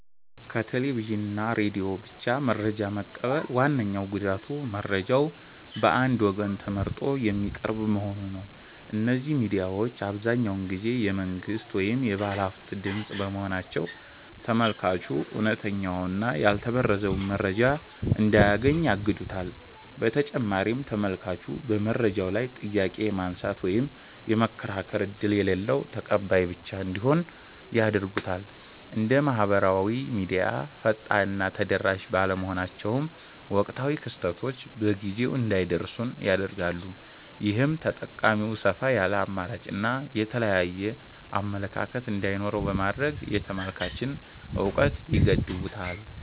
ከቴሌቪዥን እና ሬዲዮ ብቻ መረጃ መቀበል ዋነኛው ጉዳቱ መረጃው በአንድ ወገን ተመርጦ የሚቀርብ መሆኑ ነው። እነዚህ ሚዲያዎች አብዛኛውን ጊዜ የመንግሥት ወይም የባለሃብቶች ድምፅ በመሆናቸው፤ ተመልካቹ እውነተኛውንና ያልተበረዘውን መረጃ እንዳያገኝ ያግዱታል። በተጨማሪም ተመልካቹ በመረጃው ላይ ጥያቄ የማንሳት ወይም የመከራከር ዕድል የሌለው ተቀባይ ብቻ እንዲሆን ያደርጉታል። እንደ ማኅበራዊ ሚዲያ ፈጣንና ተደራሽ ባለመሆናቸውም፣ ወቅታዊ ክስተቶች በጊዜው እንዳይደርሱን ያደርጋሉ። ይህም ተጠቃሚው ሰፋ ያለ አማራጭና የተለያየ አመለካከት እንዳይኖረው በማድረግ የተመልካችን እውቀት ይገድቡታል።